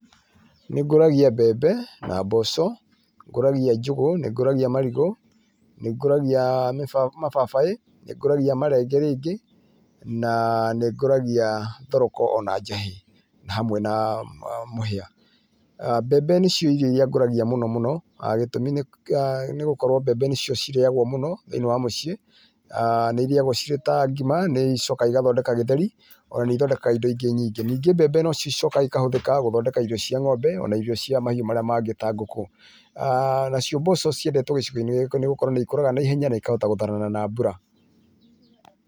Nĩ ngũragĩa mbembe na mboco, nĩngũragia njũgũ, nĩngũragia marigũ, nĩngũragia mababaĩ, nĩngũragia marenge rĩngi na nĩngũragia thoroko ona njahĩ na hamwe na mũhĩa. Mbembe nĩcio irio irĩa ngũragia mũno mũno gitũmi nĩ gũkorwo mbembe nĩcio cirĩagwo mũno thĩiinĩ wa mũciĩ, nĩ irĩagwo cĩrĩ ta ngima igacoka nĩ icokaga cigathondekaga gĩtheri, ona nĩithondekaga indo ingĩ nyingĩ. Ningĩ mbembe no cicokaga ikũhũthĩka gũthondeka irio cia ng'ombe ona irio cia mahiũ marĩa mangĩ ta ngũkũ. Nacio mboco ciendetwo gicigoinĩ gĩkĩ nĩ gũkorwo nĩ ikũraga naihenya na ikahota gũtharana na mbura.